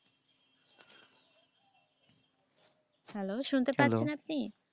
Hello শুনতে পাচ্ছেন আপনি?